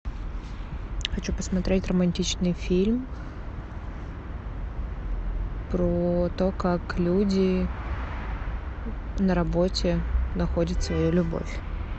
хочу посмотреть романтичный фильм про то как люди на работе находят свою любовь